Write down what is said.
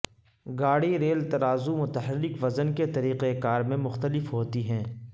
گاڑی ریل ترازو متحرک وزن کے طریقہ کار میں مختلف ہوتی ہیں